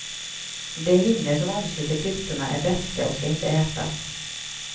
De hinnor som omsluter klyftorna är beska och skall inte ätas.